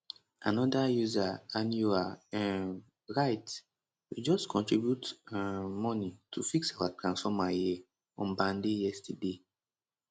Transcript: anoda user anyoha um write we just contribute um money to fix our transformer here on band a yesterday